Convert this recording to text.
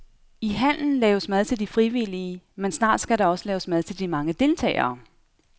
I hallen laves mad til de frivillige, men snart skal der også laves mad til de mange deltagere.